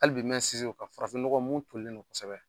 Hali bi mɛn sinsin o ka farafin nɔgɔn mun tolilen non kosɛbɛ.